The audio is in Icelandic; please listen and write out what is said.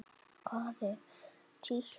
Hvað er títt?